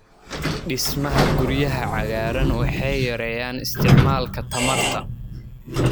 Dhismaha guryaha cagaaran waxay yareeyaan isticmaalka tamarta.